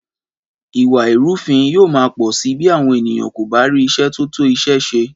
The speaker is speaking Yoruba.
Ìwà ìrúfin yóò má pọ̀ sí bí àwọn ènìyàn kò bá rí iṣẹ́ tó tó iṣẹ́ ṣe